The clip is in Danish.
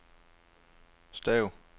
stav